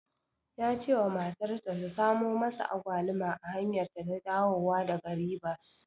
Ya cewa matarsa ta samu masa Agwaluma a hanyarta ta dawowa daga Ribas.